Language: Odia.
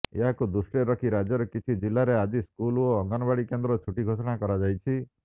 ଏହାକୁ ଦୃଷ୍ଟିରେ ରଖି ରାଜ୍ୟର କିଛି ଜିଲ୍ଲାରେ ଆଜି ସ୍କୁଲ ଓ ଅଙ୍ଗନବାଡ଼ି କେନ୍ଦ୍ର ଛୁଟି ଘୋଷଣା କରାଯାଇଛି